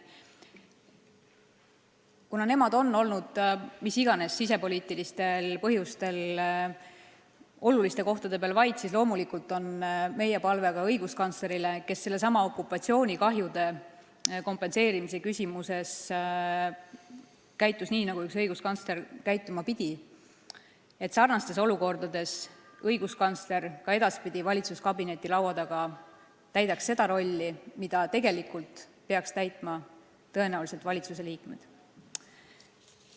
Kuna nemad on mis iganes sisepoliitilistel põhjustel olnud oluliste kohtade peal vait, siis loomulikult on meil palve ka õiguskantslerile, kes sellessamas okupatsioonikahjude kompenseerimise küsimuses käitus nii, nagu üks õiguskantsler käituma pidi, et sarnastes olukordades õiguskantsler ka edaspidi valitsuskabineti laua taga täidaks seda rolli, mida tegelikult peaksid täitma valitsusliikmed.